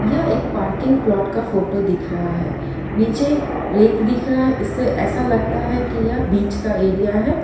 यह एक parking plot का फोटो दिख रहा है नीचे रेत दिख रहा है इससे ऐसा लगता है की यह बीच का एरिया है।